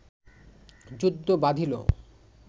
যুদ্ধ বাধিল